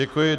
Děkuji.